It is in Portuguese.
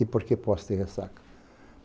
E por que Poce de Ressaca?